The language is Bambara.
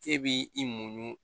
E b'i muɲu